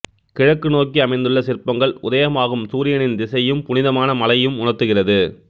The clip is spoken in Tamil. கிழக்கு நோக்கி அமைந்துள்ள சிற்பங்கள் உதயமாகும் சூரியனின் திசையையும் புனிதமான மலையும் உணர்த்துகிறது